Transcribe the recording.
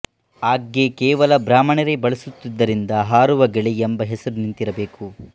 ಆಗ್ಗೆ ಕೇವಲ ಬ್ರಾಹ್ಮಣರೇ ಬಳಸುತ್ತಿದ್ದುದರಿಂದ ಹಾರುವಗೆೞೆ ಎಂಬ ಹೆಸರು ನಿಂತಿರಬೇಕು